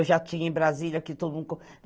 Eu já tinha em Brasília que todo mundo...